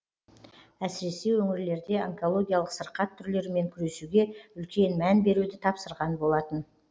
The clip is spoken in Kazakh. әсіресе өңірлерде онкологиялық сырқат түрлерімен күресуге үлкен мән беруді тапсырған болатын